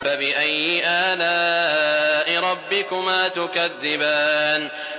فَبِأَيِّ آلَاءِ رَبِّكُمَا تُكَذِّبَانِ